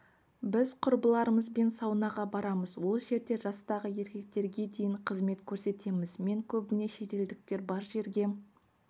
біз құрбыларымызбен саунаға барамыз ол жерде жастағы еркектерге дейін қызмет көрсетеміз мен көбіне шетелдіктер бар жерге